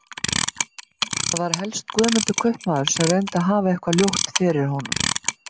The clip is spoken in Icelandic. Það var helst Guðmundur kaupmaður sem reyndi að hafa eitthvað ljótt fyrir honum.